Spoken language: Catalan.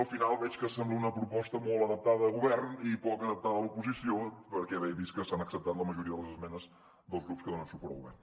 al final veig que sembla una proposta molt adaptada al govern i poc adaptada a l’oposició perquè he vist que s’han acceptat la majoria de les esmenes dels grups que donen suport al govern